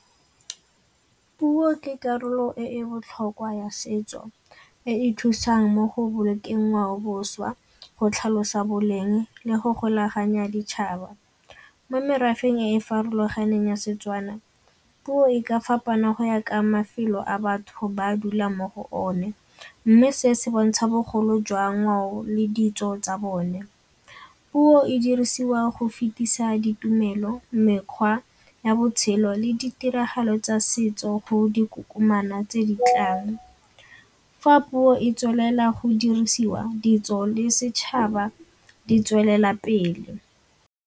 Puo ke karolo e e botlhokwa ya setso e e thusang mo go bolokeng ngwaoboswa, go tlhalosa boleng le go golaganya ditšhaba. Mo merafeng e e farologaneng ya Setswana puo e ka fapana go ya ka mafelo a batho ba dula mo go one mme se se bontsha bogolo jwa ngwao le ditso tsa bone. Puo e dirisiwa go fetisa ditumelo, mekgwa ya botshelo le ditiragalo tsa setso go dikokomana tse di tlang. Fa puo e tswelela go dirisiwa ditso le setšhaba di tswelela pele.